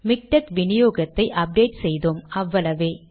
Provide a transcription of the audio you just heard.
MiKTeX வினியோகத்தை update செய்தோம் அவ்வளவே